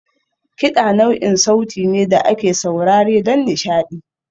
Kiɗa nau'in sauti ne da ake saurare don nishaɗi.